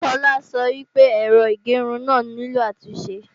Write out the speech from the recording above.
Tola sọ pé èrò ìgẹrun náà nílò àtúnṣe